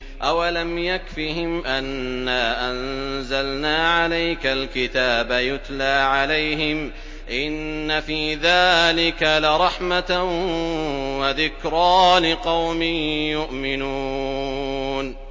أَوَلَمْ يَكْفِهِمْ أَنَّا أَنزَلْنَا عَلَيْكَ الْكِتَابَ يُتْلَىٰ عَلَيْهِمْ ۚ إِنَّ فِي ذَٰلِكَ لَرَحْمَةً وَذِكْرَىٰ لِقَوْمٍ يُؤْمِنُونَ